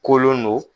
Kolon don